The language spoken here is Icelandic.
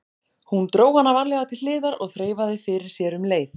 Hún dró hana varlega til hliðar og þreifaði fyrir sér um leið.